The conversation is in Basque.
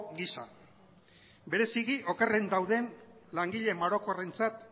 gisa bereziki okerren dauden langile marokorentzat